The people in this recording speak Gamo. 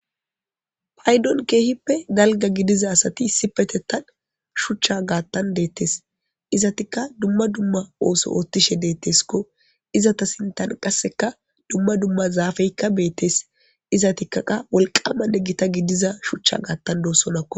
Paydon keehippe dalga gidiza asati isipetettan shuchcha gaattan deettes izatikka dumma dumma ooso oottishe deetteskko izata sintan qasseka dumma dumma zaafeykka beettes izatikka qa wolqamane gita gidiza shuchcha gaattan doossonnako